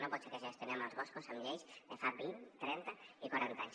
no pot ser que gestionem els boscos amb lleis de fa vint trenta i quaranta anys